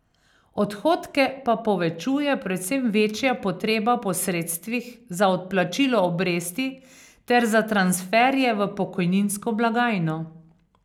Odhodke pa povečuje predvsem večja potreba po sredstvih za odplačilo obresti ter za transferje v pokojninsko blagajno.